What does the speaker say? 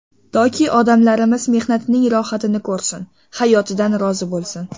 Toki odamlarimiz mehnatining rohatini ko‘rsin, hayotidan rozi bo‘lsin.